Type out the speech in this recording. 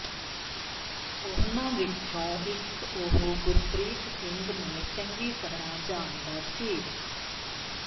ਉਨ੍ਹਾਂ ਵਿਚੋਂ ਇਕ ਉਹ ਗੁਰਪ੍ਰੀਤ ਸਿੰਘ ਨੂੰ ਚੰਗੀ ਤਰ੍ਹਾਂ ਜਾਣਦਾ ਸੀ